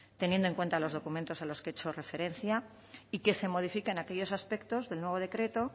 teniendo en cuenta los documentos a los que he hecho referencia y que se modifiquen aquellos aspectos del nuevo decreto